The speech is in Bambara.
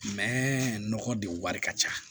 Mɛ nɔgɔ de wari ka ca